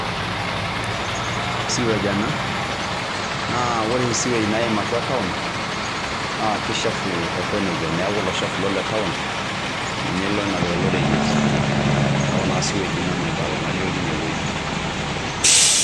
Siwage ena naa ore siwage naiim atua town kechafu aiko neja. Neaku lochafu le town ninye loinapitaa oloriyet neaku naa siwage naibala nalio tinewueji.